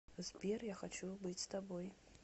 сбер я хочу быть с тобой